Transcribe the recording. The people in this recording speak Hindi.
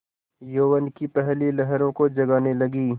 यौवन की पहली लहरों को जगाने लगी